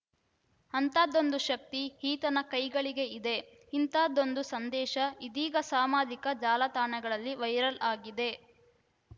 ಅಂಥದ್ದೊಂದು ಶಕ್ತಿ ಈತನ ಕೈಗಳಿಗೆ ಇದೆ ಇಂಥದ್ದೊಂದು ಸಂದೇಶ ಇದೀಗ ಸಾಮಾಜಿಕ ಜಾಲತಣಗಳಲ್ಲಿ ವೈರಲ್‌ ಆಗಿದೆ